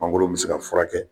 Mangoro bɛ se ka furakɛ